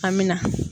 An bɛ na